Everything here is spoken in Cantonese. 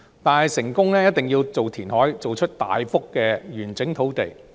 但是，要成功一定要填海，造出大幅完整的土地。